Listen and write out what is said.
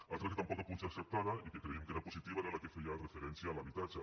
l’altra que tampoc ha pogut ser acceptada i que creiem que era positiva era la que feia referència a l’habitatge